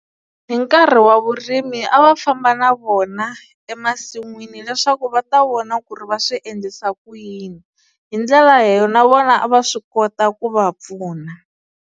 Hi nkarhi wa vurimi a va famba na vona emasin'wini leswaku va ta vona ku ri va swi endlisa ku yini hi ndlela leyo na vona a va swi kota ku va pfuna.